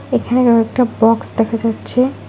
এখানেও কয়েকটা বক্স দেখা যাচ্ছে।